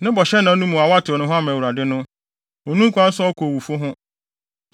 “Ne bɔhyɛ no nna no mu a watew ne ho ama Awurade no, onni ho kwan sɛ ɔkɔ owufo ho.